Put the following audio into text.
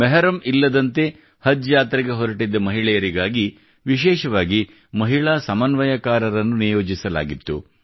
ಮೆಹರಮ್ ಇಲ್ಲದಂತೆ ಹಜ್ ಯಾತ್ರೆಗೆ ಹೊರಟಿದ್ದ ಮಹಿಳೆಯರಿಗಾಗಿ ವಿಶೇಷವಾಗಿ ಮಹಿಳಾ ಸಮನ್ವಯಕಾರರನ್ನು ನಿಯೋಜಿಸಲಾಗಿತ್ತು